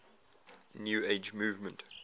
new age movement